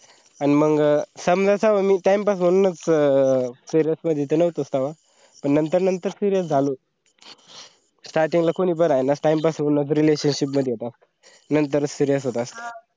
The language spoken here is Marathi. अन मंग समजा तेव्हा मी time pass म्हणूनच च serious मध्ये नव्हतोच तेव्हा पण नंतर नंतर serious झालो starting ला कोणी बराय ना time pass म्हणूनच relationship मध्ये येतात नंतर serious होत असत